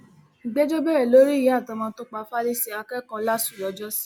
ìgbẹjọ bẹrẹ lórí ìyá àtọmọ tó pa falise akẹkọọ láṣù lọjọsí